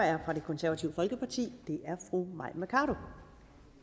er fra det konservative folkeparti det er fru mai mercado